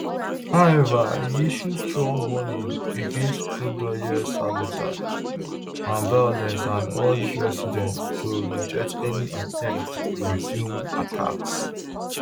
however e issue strong warning against crude oil sabotage and violence and urge residents to reject any attempts to resume attacks